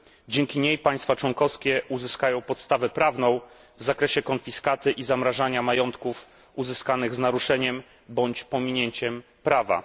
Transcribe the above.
Dzięki niej państwa członkowskie uzyskają podstawę prawną w zakresie konfiskaty i zamrażania majątków uzyskanych z naruszeniem bądź pominięciem prawa.